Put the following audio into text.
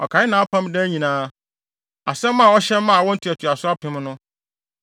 Ɔkae nʼapam daa nyinaa, asɛm a ɔhyɛ maa awo ntoantoaso apem no.